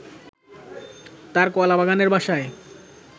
তার কলাবাগানের বাসায়